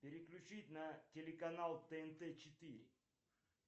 переключить на телеканал тнт четыре